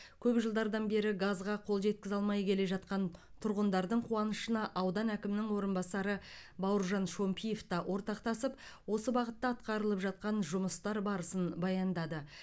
көп жылдардан бері газға қол жеткізе алмай келе жатқан тұрғындардың қуанышына аудан әкімінің орынбасары бауыржан шомпиев та ортақтасып осы бағытта атқарылып жатқан жұмыстар барысын баяндады